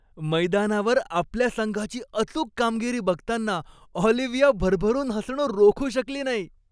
मैदानावर आपल्या संघाची अचूक कामगिरी बघताना ऑलिव्हाया भरभरून हसणं रोखू शकली नाही.